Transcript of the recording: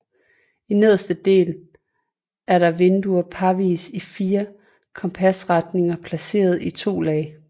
I nederste del er der vinduer parvis i fire kompasretninger placeret i to lag